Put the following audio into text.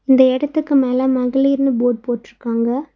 இந்த எடத்துக்கு மேல மகளிர்ன்னு போர்ட் போட்டுருக்காங்க.